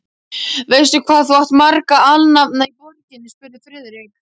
Veistu, hvað þú átt marga alnafna í borginni? spurði Friðrik.